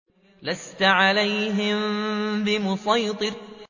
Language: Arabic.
لَّسْتَ عَلَيْهِم بِمُصَيْطِرٍ